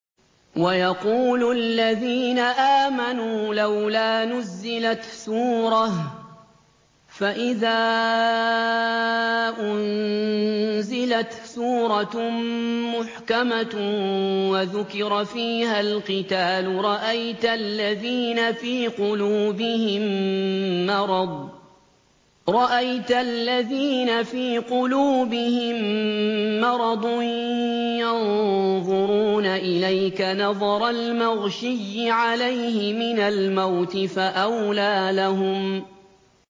وَيَقُولُ الَّذِينَ آمَنُوا لَوْلَا نُزِّلَتْ سُورَةٌ ۖ فَإِذَا أُنزِلَتْ سُورَةٌ مُّحْكَمَةٌ وَذُكِرَ فِيهَا الْقِتَالُ ۙ رَأَيْتَ الَّذِينَ فِي قُلُوبِهِم مَّرَضٌ يَنظُرُونَ إِلَيْكَ نَظَرَ الْمَغْشِيِّ عَلَيْهِ مِنَ الْمَوْتِ ۖ فَأَوْلَىٰ لَهُمْ